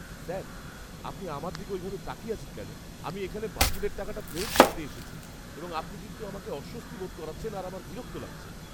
Sir, আপনি আমার দিকে ওইভাবে তাকিয়ে আছেন কেন? আমি এখানে বাতিলের টাকাটা ফেরত নিতে এসেছি এবং আপনি কিন্তু আমাকে অস্বস্তি বোধ করাচ্ছেন আর আমার বিরক্ত লাগছে।